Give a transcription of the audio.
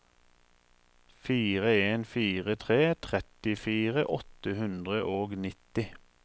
fire en fire tre trettifire åtte hundre og nitti